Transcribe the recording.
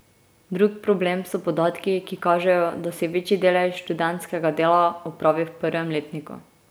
Drug problem so podatki, ki kažejo, da se večji delež študentskega dela opravi v prvem letniku.